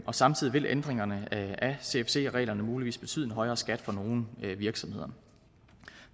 og samtidig vil ændringerne af cfc reglerne muligvis betyde en højere skat for nogle virksomheder